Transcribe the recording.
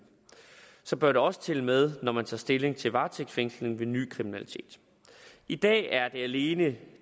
bør det også tælle med når man tager stilling til varetægtsfængsling ved ny kriminalitet i dag er det alene